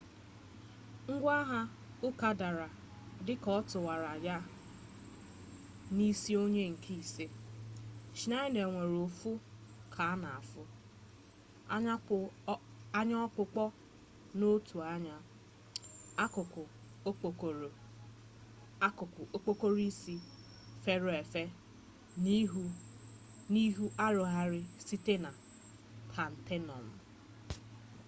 ngwa agha uka dara dị ka ọ tụwara ya n'isi ony nke ise schneider nwere ụfụ ka na-afụ anya ọkpụkpọ n'otu anya akụkụ okpokoro isi furu efu na ihu arụgharịrị site na taịtenọm